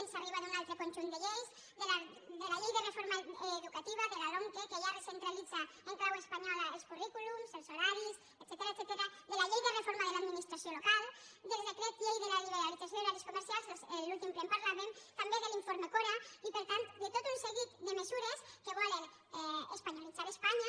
ens arriba d’un altre conjunt de lleis de la llei de reforma educativa de la lomce que ja recentralitza en clau espanyola els currículums els horaris etcètera de la llei de reforma de l’administració local del decret llei de la liberalització d’horaris comercials a l’últim ple en parlàvem també de l’informe cora i per tant de tot un seguit de mesures que volen espanyolitzar espanya